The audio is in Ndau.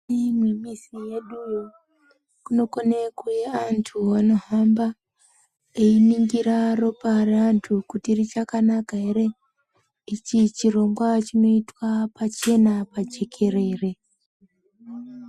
Mukati mwemizi yeduyo kunokone kuuya antu anohamba einingira ropa reantu kuti richakanaka ere . Ichi chirongwa chinoitwa pachena majekerere.